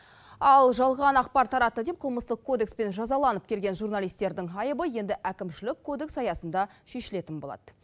ал жалған ақпар таратты деп қылмыстық кодекспен жазаланып келген журналистердің айыбы енді әкімшілік кодекс аясында шешілетін болады